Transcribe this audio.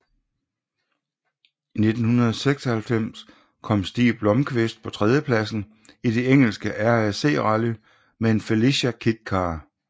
I 1996 kom Stig Blomqvist på tredjepladsen i det engelske RAC Rally med en Felicia Kit Car